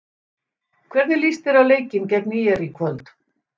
Hvernig líst þér á leikinn gegn ÍR í kvöld?